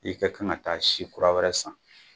I ka kan ka taa si kura wɛrɛ san